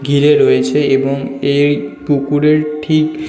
ঘিরে রয়েছে এবং এই পুকুরের ঠিক--